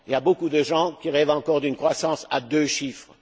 Beaucoup de gens rêvent encore d'une croissance à deux chiffres.